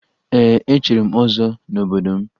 Ee, echiri m ọzọ n'obodo m